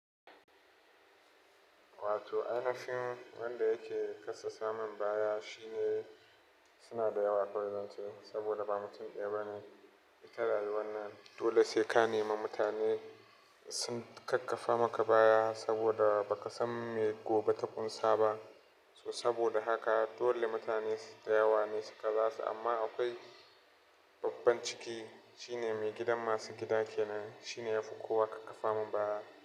Wato, ainihin wanda yake kassasa mun baya shine suna da yawa kawai zance saboda ba mutum ɗaya ba ne. Ita rayuwannan dole sai ka nema mutane sun ƙaƙƙafa maka baya saboda ba ka san me gobe ta kunsaba. So saboda haka dole mutane su da yawa ne su kaza su amma akwai babban ciki shine mai gidan masu gida kenan shine yafi kowa ƙaƙƙafa mun baya.